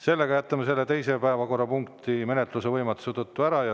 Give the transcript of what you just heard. Sellega jätame teise päevakorrapunkti menetluse võimatuse tõttu ära.